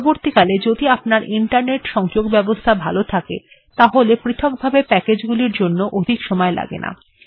পরবর্তীকালে যদি আপনার ইন্টারনেট সংযোগ ব্যবস্থা ভালো থাকে তাহলে পৃথক ভাবে প্যাকেজ্গুলির জন্য অধিক সময় লাগে না